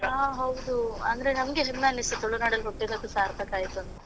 ಹಾ ಹೌದು, ಅಂದ್ರೆ ನಮಗೆ ಹೆಮ್ಮೆ ಅನ್ನಿಸ್ತು ತುಳುನಾಡಲ್ಲಿ ಹುಟ್ಟಿದಕ್ಕೆ ಸಾರ್ಥಕ ಆಯ್ತು ಅಂತ.